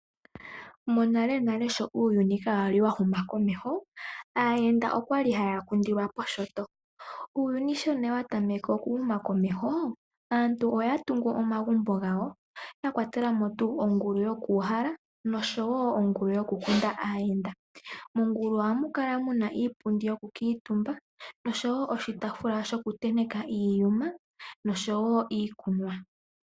Monalenale sho uuyununi kawa li wa huma komeho, aayenda oya li haya kundilwa poshinyanga. Uuyuni sho nee wa tameke okuhuma komeho, aantu oya tungu omagumbo gawo, ya kwatela mo ongulu yokuuhala, nosho wo ongulu yokukunda aayenda. Mongulu ohamu kala iipundi yokukala omutumba nosho wo oshitaafula shokutenteka iiyuma niikunwa.